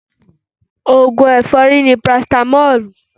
Ògùn ẹ̀fọ́rí ni parasitamọ́lù